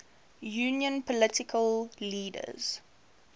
union political leaders